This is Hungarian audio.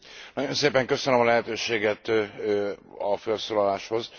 Nagyon szépen köszönöm a lehetőséget a fölszólaláshoz!